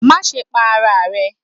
Maṣe pa ara rẹ